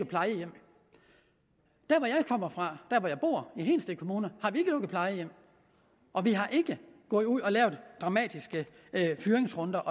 plejehjem der hvor jeg kommer fra der hvor jeg bor i hedensted kommune har vi ikke lukket plejehjem og vi har ikke gået ud og lavet dramatiske fyringsrunder